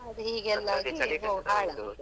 ಅದು ಹೀಗೆ ಎಲ್ಲಾ ಆಗಿ .